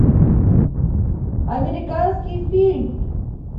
американский фильм